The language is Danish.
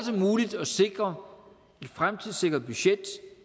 muligt at sikre et fremtidssikret budget